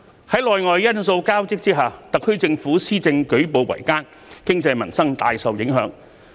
在內外因素交織之下，特區政府施政舉步維艱，經濟民生大受影響。